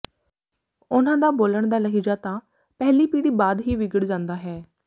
ਉਨ੍ਹਾਂ ਦਾ ਬੋਲਣ ਦਾ ਲਹਿਜਾ ਤਾਂ ਪਹਿਲੀ ਪੀੜ੍ਹੀ ਬਾਅਦ ਹੀ ਵਿਗੜ ਜਾਂਦਾ ਹੈ